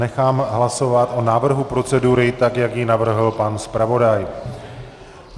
Nechám hlasovat o návrhu procedury, tak jak ji navrhl pan zpravodaj.